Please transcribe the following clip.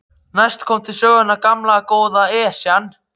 Næst kom til sögunnar gamla, góða Esjan.